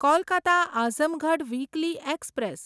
Kolkata Azamgarh weekly express